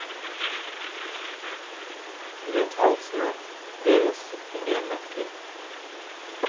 Rundt halsene deres henger en nøkkel.